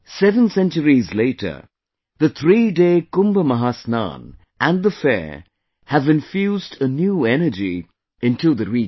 Seven centuries later, the threeday Kumbh Mahasnan and the fair have infused a new energy into the region